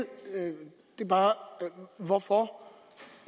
hvorfor